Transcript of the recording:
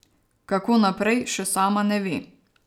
Kako naprej, še sama ne ve.